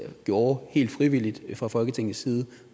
gjorde helt frivilligt fra folketingets side